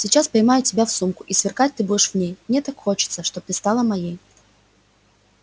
сейчас поймаю тебя в сумку и сверкать ты будешь в ней мне так хочется чтоб стала ты моей